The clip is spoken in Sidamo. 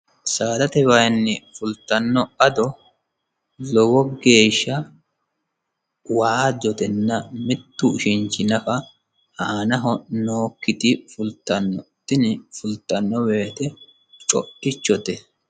saadate wayinni fultanno ado lowo geeshsha waajjotenna mittu ushinchi nafa aanaho nookkiti fultanno tini fultanno woyite co'ichote